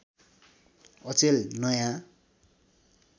अचेल नयाँ